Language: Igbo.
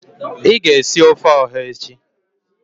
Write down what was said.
I ga esi ofe oha echi.